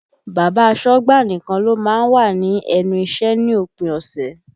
Bàbá asọ́gbà nìkan ló má ń wà ní ẹnu iṣẹ́ ní òpin ọ̀sẹ̀